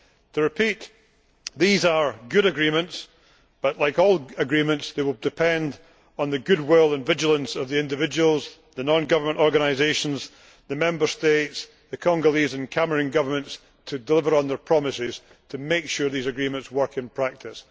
I repeat that these are good agreements but, like all agreements, they will depend on the goodwill and vigilance of individuals the non government organisations, the Member States, the Congolese and Cameroon governments to deliver on their promises to make sure these agreements work in practice.